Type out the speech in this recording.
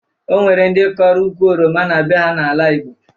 O nwere ndị kọrọ ukwu oroma na be ha n'ala Igbo